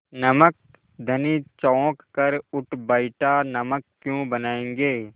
नमक धनी चौंक कर उठ बैठा नमक क्यों बनायेंगे